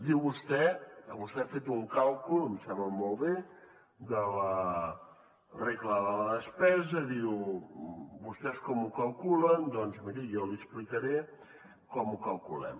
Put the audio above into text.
diu vostè que vostè ha fet un càlcul em sembla molt bé de la regla de la despesa diu vostès com ho calculen doncs miri jo li explicaré com ho calculem